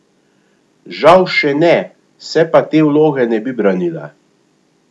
Žal še ne, se pa te vloge ne bi branila.